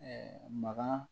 maga